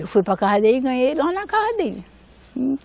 Eu fui para a casa dele e ganhei lá na casa dele.